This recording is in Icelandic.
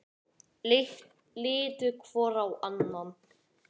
Litu hvor á annan.